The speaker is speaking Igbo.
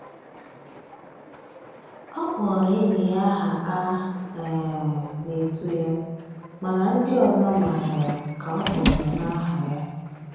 Ọ kpọrọ enyi ya aha a um na-etu ya mana ndị ọzọ mara ya ka ọ kpọrọ na aha ha.